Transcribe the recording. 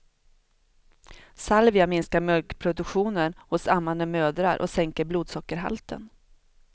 Salvia minskar mjölkproduktionen hos ammande mödrar och sänker blodsockerhalten.